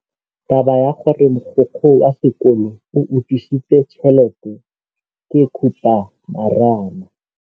Taba ya gore mogokgo wa sekolo o utswitse tšhelete ke khupamarama.